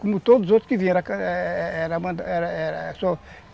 Como todos os outros que vieram